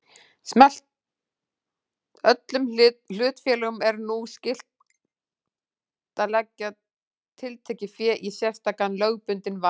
Öllum hlutafélögum er nú skylt að leggja tiltekið fé í sérstakan lögbundinn varasjóð.